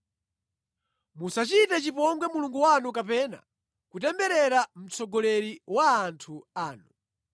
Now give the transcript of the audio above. “Musachite chipongwe Mulungu wanu kapena kutemberera mtsogoleri wa anthu anu.